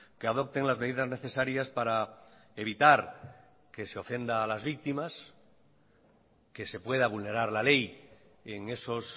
que adopten las medidas necesarias para evitar que se ofenda a las víctimas que se pueda vulnerar la ley en esos